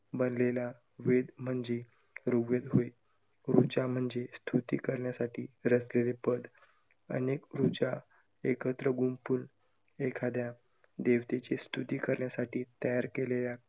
भरलेला वेद म्हणजे ऋग्वेद होय. ऋचा म्हणजे स्तुति करण्यासाठी रचलेले पद. अनेक ऋचा एकत्र गुंपुन एखाद्या देवतेची स्तुति करण्यासाठी तयार केलेल्या का~